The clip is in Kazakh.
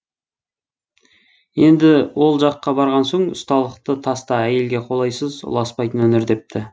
енді ол жаққа барған соң ұсталықты таста әйелге қолайсыз ұласпайтын өнер депті